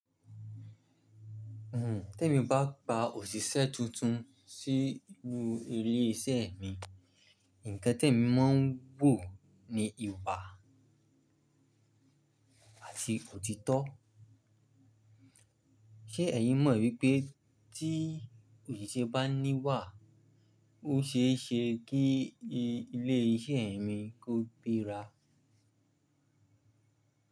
Tẹ́ mi bá gba òṣìṣẹ́ tuntun sí inù ilé iṣẹ́ mi, ǹkan tí èmi máa ń wò ni ìwà àti òtítọ́. Ṣé ẹ̀yin mọ̀ wípé tí òṣìṣẹ́ bá ní wà, ó ṣe é ṣe kí ilé iṣẹ́ mi kó gbéra?